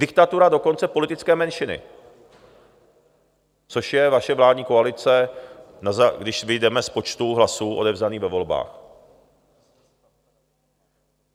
Diktatura dokonce politické menšiny, což je vaše vládní koalice, když vyjdeme z počtu hlasů odevzdaných ve volbách.